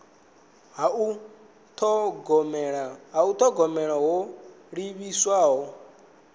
ha u thogomela ho livhiswaho